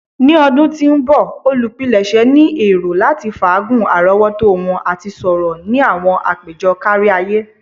Ni ọdun ti n bọ, olupilẹṣẹ ni ero lati faagun arọwọto wọn ati sọrọ ni awọn apejọ kariaye.